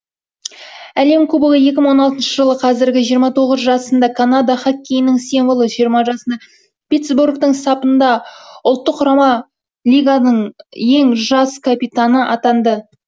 әлем кубогы екі мың он алтыншы жылы қазіргі жиырма тоғыз жасында канада хоккейінің символы жиырма жасында питсбургтың сапында ұлттық құрама лиганың ең жас капитаны атанды